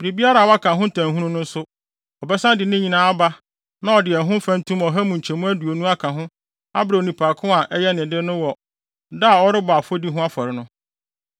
biribiara a waka ho ntamhunu no nso, ɔbɛsan de ne nyinaa aba na ɔde ho mfɛntom ɔha mu nkyɛmu aduonu aka ho abrɛ onipa ko a ɛyɛ ne de no wɔ da a ɔrebɔ afɔdi ho afɔre no.